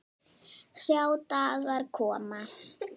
Sjá dagar koma